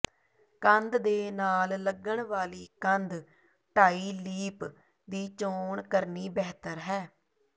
ਕੰਧ ਦੇ ਨਾਲ ਲੱਗਣ ਵਾਲੀ ਕੰਧ ਢਾਈਲੀਪ ਦੀ ਚੋਣ ਕਰਨੀ ਬਿਹਤਰ ਹੈ